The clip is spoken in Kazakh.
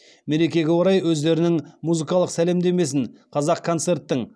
мерекеге орай өздерінің музыкалық сәлемдемесін қазақконцерттің